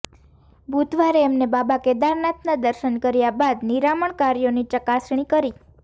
બુધવારે એમને બાબા કેદારનાથના દર્શન કર્યા બાદ નિરામણ કાર્યોની ચકાસણી કરી